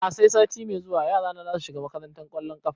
A'a sai sati mai zuwa yara na zasu shiga makantar ƙwallon ƙafa